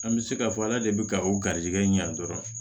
An bɛ se k'a fɔ ala de bɛ ka o garizɛgɛ ɲɛ dɔrɔn